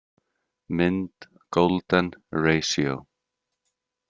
Mynd Golden ratio.